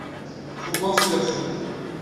фургон смерти